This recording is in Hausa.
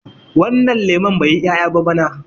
wannan lemon bai yi 'ya'ya ba bana